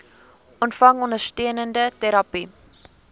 ontvang ondersteunende terapie